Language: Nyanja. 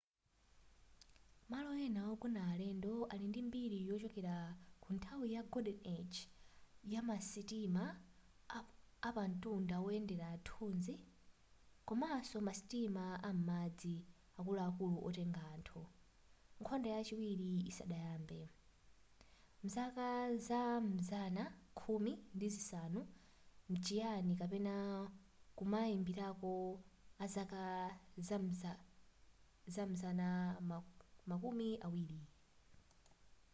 malo ena ogona alendo ali ndi mbiri yochokera kunthawi ya golden age yamasitima apamtunda woyendera nthuzi komanso masitima am'madzi akuluakulu otenga anthu nkhondo yachiwiri isadayambe mzaka za m'mazana khumi ndi zisanu mchinayi kapena kumayambiliro azaka zam'mazana makumi awiri